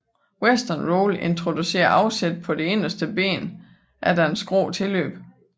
Western Roll introducerede afsæt på det inderste ben efter et skråt tilløb